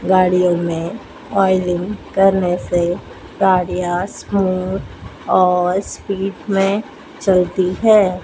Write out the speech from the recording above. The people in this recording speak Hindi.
गाड़ियों में ऑयलिंग करने से गाड़ियां स्मूद और स्पीड में चलती है।